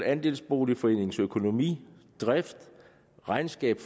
andelsboligforeningens økonomi drift regnskab